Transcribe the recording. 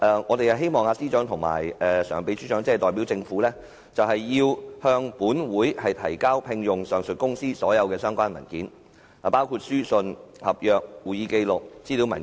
我們希望政務司司長和民政事務局常任秘書長代表政府就聘用上述公司向本會提交所有相關文件，包括書信、合約、會議紀錄和資料文件。